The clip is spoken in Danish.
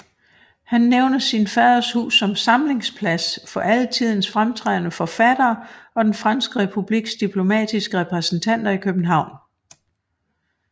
Han nævner sin faders hus som samlingsplads for alle tidens fremtrædende forfattere og den franske republiks diplomatiske repræsentater i København